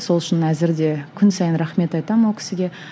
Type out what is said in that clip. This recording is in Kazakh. сол үшін әзір де күн сайын рахмет айтамын ол кісіге